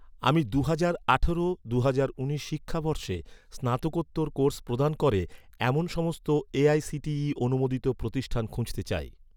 আমি দুহাজার আঠারো দুহাজার উনিশ শিক্ষাবর্ষে স্নাতকোত্তর কোর্স প্রদান করে, এমন সমস্ত এ.আই.সি.টি.ই অনুমোদিত প্রতিষ্ঠান খুঁজতে চাই